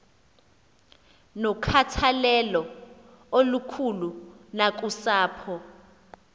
nokhathalelo olukhulu nakusapho